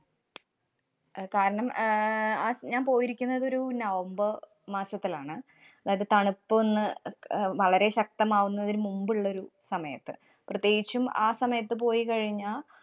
അഹ് കാരണം, അഹ് ഞാന്‍ പോയിരിക്കുന്നത് ഒരു നവംബര്‍ മാസത്തിലാണ്. അതായത് തണുപ്പൊന്ന് അ~ അഹ് വളരെ ശക്തമാവുന്നതിന് മുമ്പുള്ളൊരു സമയത്ത് പ്രത്യേകിച്ചും ആ സമയത്ത് പോയിക്കഴിഞ്ഞാ